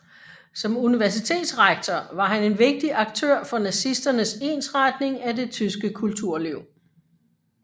Som universitetsrektor var han en vigtig aktør for nazisternes ensretning af det tyske kulturliv